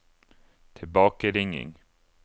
tilbakeringing